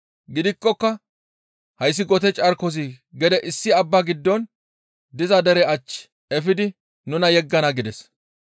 Gidikkoka hayssi gote carkozi gede issi abba giddon diza dere ach efidi nuna yeggana» gides.